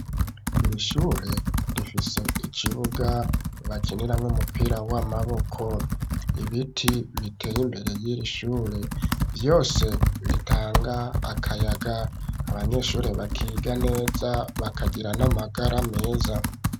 Iri shure rifise ikibuga bakiniramwo umupira w'amaboko ibiti biteye imbere yiri shure vyose bitanga akayaga abanyeshuri bakiga neza bakagira n'amagara meza